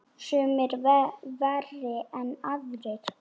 Sumir verri en aðrir.